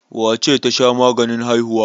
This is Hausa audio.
Wace ce ta sha maganin haihuwa?